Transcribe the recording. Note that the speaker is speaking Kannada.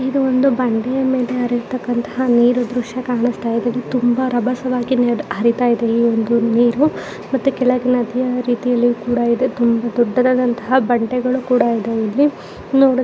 ಇದು ಒಂದು ಬಂಡೆಯ ಮೇಲೆ ಹರಿತ್ತಕಂತಹ ನೀರು ದೃಶ್ಯ ಕಾಣುತ್ತಾ ಇದೆ ತುಂಬಾ ರಭಸವಾಗಿ ನೀರು ಹರಿತ ಇದೆ ಈ ಒಂದು ನೀರು ಮತ್ತೆ ಕೆಳಗೆ ನದಿಯ ರೀತಿಯಲ್ಲು ಕೂಡ ಇದೆ ತುಂಬಾ ದೊಡ್ಡದಾದಂತಹ ಬಂಡೆಗಳು ಕೂಡ ಇದಾವೆ ಇಲ್ಲಿ ನೋಡಲು --